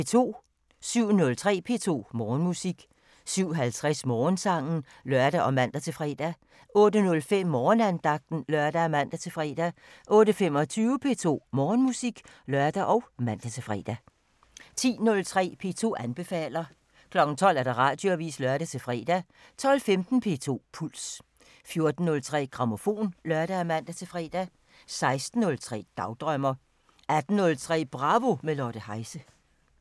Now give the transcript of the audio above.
07:03: P2 Morgenmusik 07:50: Morgensangen (lør og man-fre) 08:05: Morgenandagten (lør og man-fre) 08:25: P2 Morgenmusik (lør og man-fre) 10:03: P2 anbefaler 12:00: Radioavisen (lør-fre) 12:15: P2 Puls 14:03: Grammofon (lør og man-fre) 16:03: Dagdrømmer 18:03: Bravo – med Lotte Heise